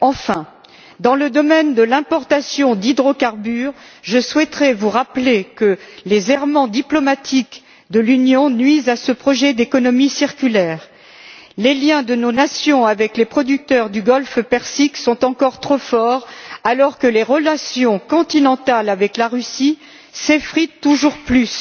Enfin, dans le domaine de l'importation d'hydrocarbures, je souhaiterais vous rappeler que les errements diplomatiques de l'Union nuisent à ce projet d'économie circulaire. Les liens de nos nations avec les producteurs du golfe Persique sont encore trop forts, alors que les relations continentales avec la Russie s'effritent toujours plus.